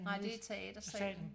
Nej det teatersalen